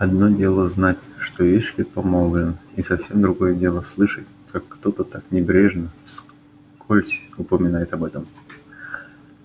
одно дело знать что эшли помолвлен и совсем другое дело слышать как кто-то так небрежно вскользь упоминает об этом